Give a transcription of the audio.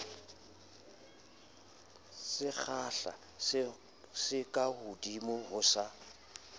sekgahla se kahodimo ho sa